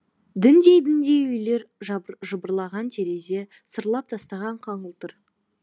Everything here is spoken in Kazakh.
діндей діндей үйлер жыбырлаған терезе сырлап тастаған қаңылтыр